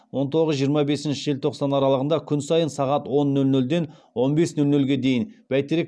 он тоғыз жиырма бесінші желтоқсан аралығында күн сайын сағат он нөл нөлден он бес нөл нөлге дейін бәйтерек